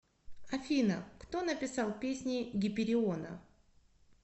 афина кто написал песни гипериона